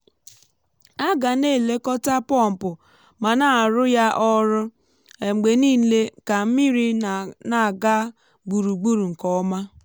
a gà n' èlékọ́tá pompụ mà ná àrụ́ ya ọrụ um mgbe niile ka mmiri na-aga gburugburu nke ọma.